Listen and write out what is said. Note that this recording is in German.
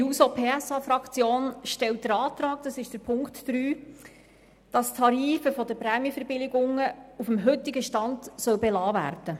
Die SP-JUSO-PSA-Fraktion stellt den Antrag, dass die Tarife der Prämienverbilligungen auf dem heutigen Stand belassen werden.